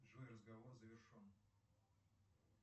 джой разговор завершен